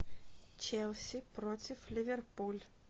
челси против ливерпуль